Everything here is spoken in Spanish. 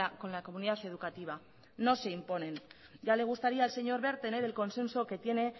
con la comunidad educativa no se imponen ya le gustaría al señor wert tener el consenso que tiene